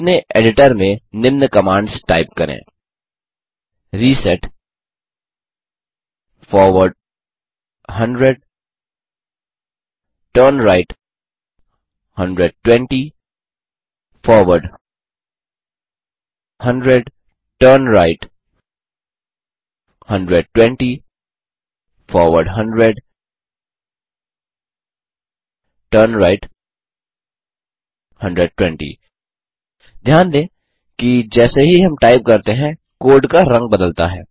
अपने एडिटर में निम्न कमांड्स टाइप करें160 reset forward 100 turn right 120 forward 100 turn right 120 forward 100 turn right 120 ध्यान दें कि जैसे ही हम टाइप करते हैं कोड का रंग बदलता है